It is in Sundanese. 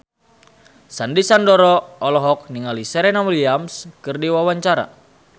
Sandy Sandoro olohok ningali Serena Williams keur diwawancara